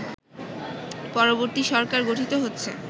পরবর্তী সরকার গঠিত হচ্ছে